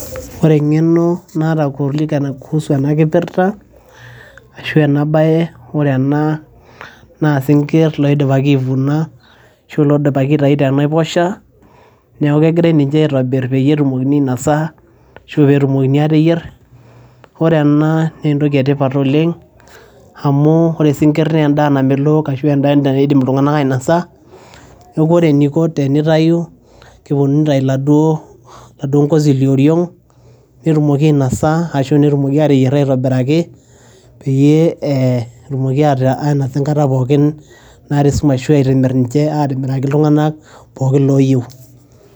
Ore enkeno naata kuusu ena kipirta arashuu ena baye, ore ena naa isinkirr oidipaki aivuna l,arashuu iloidipaki aitayu tenaiposha neeku kegirai ninje aitobirr peyie etumokini ainosa, arashu peyie etumokini aa teyierr. Ore enaa naa entoki etipat oleng' amu isinkirr naa endaa namelook arashu endaa naidimi iltunganak ainosa, neeku ore eniko tenitayu keponu neitayu oladuo ngozi lioriong netumoki ainosa arashu netumoki aa teyierr aitobiraki pee etumoki ainosa enkata pookin naata esumash arashuu emiraki iltunganak pookin loo yiu.